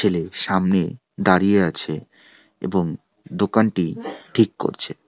ছেলে সামনে দাঁড়িয়ে আছে এবং দোকানটি ঠিক করছে।